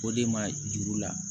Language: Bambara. O de ma juru la